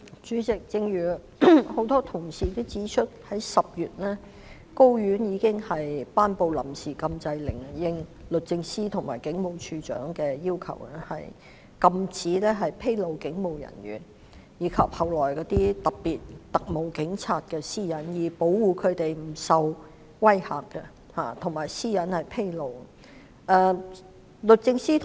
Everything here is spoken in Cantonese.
主席，正如很多同事也指出，高等法院在10月已經頒布了臨時禁制令，應律政司和警務處處長的要求，禁止披露警務人員及特務警察的私隱，從而保護他們不受威嚇及其私隱不會被披露。